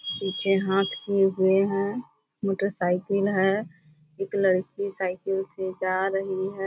पीछे हाथ किए हुए है मोटरसाइकिल है। एक लड़की साईकल से जा रही है।